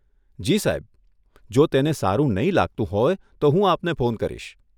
જી સાહેબ, જો તેને સારું નહીં લાગતું હોય, તો હું આપને ફોન કરીશ.